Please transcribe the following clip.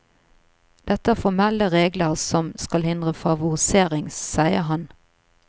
Dette er formelle regler som skal hindre favorisering, sier han.